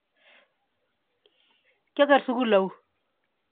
ki oker sukul au yo?